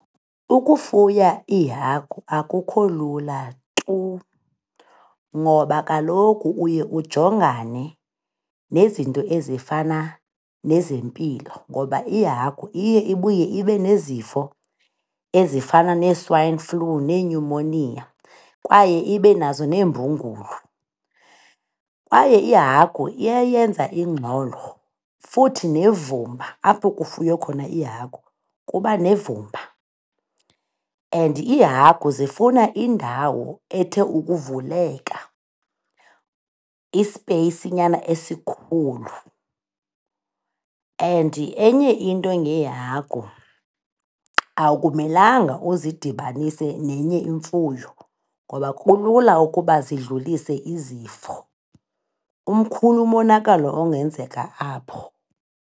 Ukufuya iihagu akukho lula tu ngoba kaloku uye ujongane nezinto ezifana nezempilo ngoba ihagu iye ibuye ibe nezifo ezifana nee-swine flu, nee-pneumonia kwaye ibe nazo neembungulu Kwaye ihagu iyayenza ingxolo futhi nevumba, apho kufuywe khona ihagu kuba nevumba and iihagu zifuna indawo ethe ukuvuleka, ispeyisinyana esikhulu. And enye into ngeehagu, akumelanga uzidibanise nenye imfuyo ngoba kulula ukuba zidlulise izifo, umkhulu umonakalo ongenzeka apho.